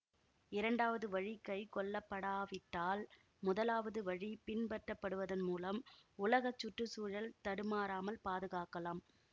இரண்டாவது வழி கைக்கொள்ளப்படாவிட்டால் முதலாவது வழி பின்பற்றப்படுவதன் மூலம் உலக சுற்று சூழல் தடுமாறாமல் பாதுகாக்கலாம்